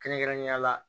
Kɛrɛnkɛrɛnnenya la